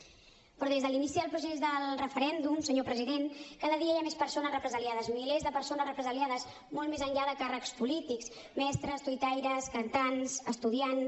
però des de l’inici del procés del referèndum senyor president cada dia hi ha més persones represaliades milers de persones represaliades molt més enllà de càrrecs polítics mestres tuitaires cantants estudiants